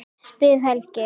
spyr Helgi.